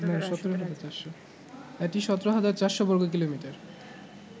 এটি ১৭৪০০ বর্গ কিলোমিটার